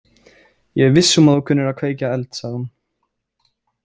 Ég er viss um að þú kunnir að kveikja eld, sagði hún.